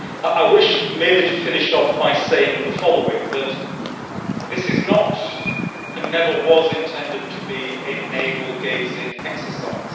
I wish merely to finish off by saying the following that this is not, and never was intended to be, a navel gazing exercise.